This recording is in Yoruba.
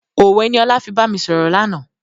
Òwe ni ọlá fi bami sọ̀rọ̀ lànà.